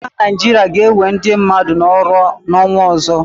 Ndị agha Naịjirịa ga-enwe ndị mmadụ n'ọrụ n'ọnwa ọzọ.